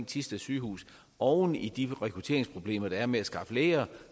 thisted sygehus oven i de rekrutteringsproblemer der er med at skaffe læger